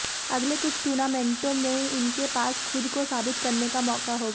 अगले कुछ टूर्नामेंटो में इनके पास खुद को साबित करने का मौका होगा